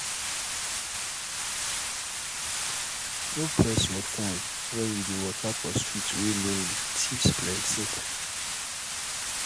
no press your phone when you dey waka for street wey lonely thieves plenty